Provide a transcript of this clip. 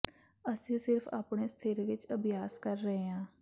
ਅਸੀਂ ਸਿਰਫ ਆਪਣੇ ਸਥਿਰ ਵਿਚ ਅਭਿਆਸ ਕਰ ਰਹੇ ਹਾਂ